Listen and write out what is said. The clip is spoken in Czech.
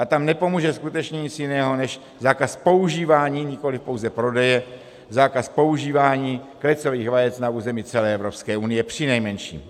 A tam nepomůže skutečně nic jiného než zákaz používání, nikoli pouze prodeje, zákaz používání klecových vajec na území celé Evropské unie přinejmenším.